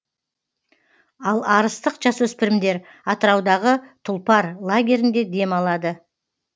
ал арыстық жасөспірімдер атыраудағы тұлпар лагерінде демалады